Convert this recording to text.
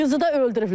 Qızı da öldürüblər.